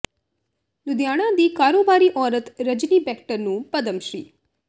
ਲੁਧਿਆਣਾ ਦੀ ਕਾਰੋਬਾਰੀ ਔਰਤ ਰਜਨੀ ਬੈਕਟਰ ਨੂੰ ਪਦਮ ਸ਼੍ਰੀ